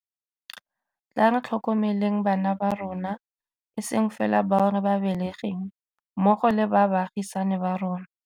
Tla re tlhokomeleng bana ba rona, e seng fela bao re ba belegeng, mmogo le ba baagisani ba rona.